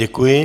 Děkuji.